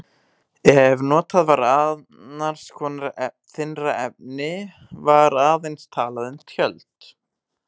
Ef notað var annars konar þynnra efni var aðeins talað um tjöld.